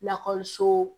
Lakɔliso